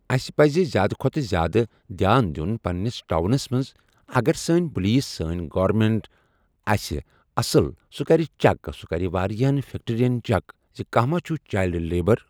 اَسہِ پَزِ زیادٕ کھۄتہٕ زیادٕ دیان دیُن پنٛنِس ٹاونَس منٛز اگر سٲنۍ پُلیٖس سٲنۍ گورمٮ۪نٛٹ آسہِ اَصٕل سُہ کَرِ چک سُہ کَرِ واریاہَن فٮ۪کٹِرٛیَن چک کہِ کانٛہہ ما چھُ چایلڈٕ لیبَر۔